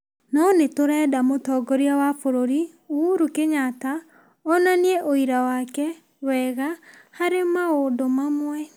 no nĩ tũrenda mũtongoria wa bũrũri, Uhuru Kenyatta onanie ũira wake wega harĩ maũndũ mamwe.